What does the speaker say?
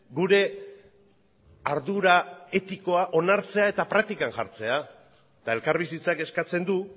gure ardura etikoa onartzea eta praktikan jartzea eta elkarbizitzak eskatzen du